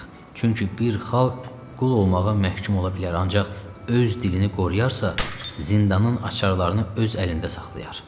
Çünki bir xalq qul olmağa məhkum ola bilər, ancaq öz dilini qoruyarsa, zindanın açarlarını öz əlində saxlayar.